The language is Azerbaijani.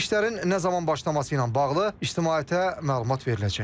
İşlərin nə zaman başlaması ilə bağlı ictimaiyyətə məlumat veriləcək.